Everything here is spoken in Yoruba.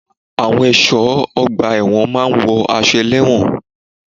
Àwọn ẹ̀ṣọ́ ọgbà ẹ̀wọ̀n máa wo àwọn ẹlẹ́wọ̀n.